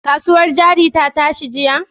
Kasuwar hannun jari ta tashi jiya?